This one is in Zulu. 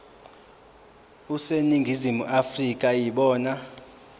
aseningizimu afrika yibona